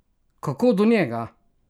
Kako do njega?